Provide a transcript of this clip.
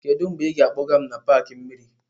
Kedu mgbe ị ga-akpọga m n'paaki mmiri?